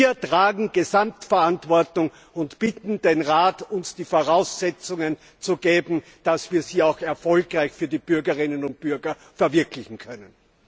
Wir tragen Gesamtverantwortung und bitten den Rat, uns die Voraussetzungen zu schaffen, dass wir sie auch erfolgreich für die Bürgerinnen und Bürger verwirklichen können.